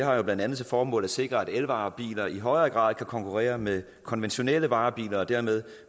har jo blandt andet til formål at sikre at elvarebiler i højere grad kan konkurrere med konventionelle varebiler og dermed